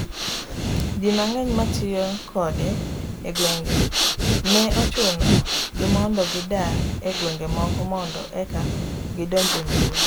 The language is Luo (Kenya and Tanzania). ji mang'eny ma tiyo kode e gwenge nee ochuno gi mondo gidar e gwenge moko mondo eka gidonj e mbuyi